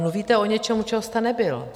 Mluvíte o něčem, u čeho jste nebyl.